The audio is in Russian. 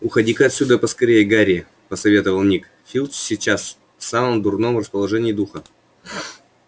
уходи-ка отсюда поскорее гарри посоветовал ник филч сейчас в самом дурном расположении духа